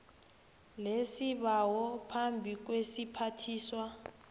lesibawo phambi kwesiphathiswa